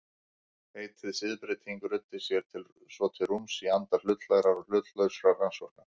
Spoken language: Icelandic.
Heitið siðbreyting ruddi sér svo til rúms í anda hlutlægra og hlutlausra rannsókna.